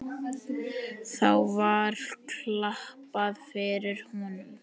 Þá var klappað fyrir honum.